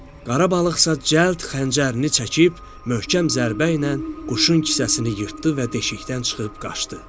Qara balıqsa cəld xəncərini çəkib möhkəm zərbə ilə quşun kisəsini yırtdı və deşikdən çıxıb qaçdı.